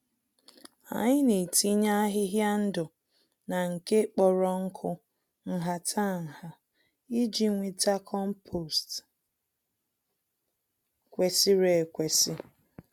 Anyị netinye ahịhịa ndụ na nke kpọrọ nkụ nhata-nha, iji nweta kompost kwesịrị ekwesị